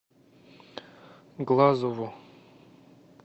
глазову